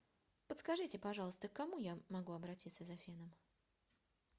подскажите пожалуйста к кому я могу обратиться за феном